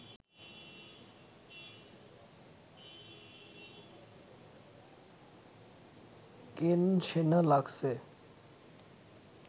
কেন সেনা লাগছে